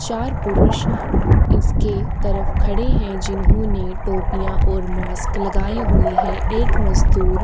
चार पुरुष इसके तरफ खड़े हैं जिन्होंने टोपिया और मास्क लगाए हुए हैं। एक मजदूर --